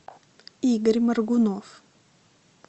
игорь моргунов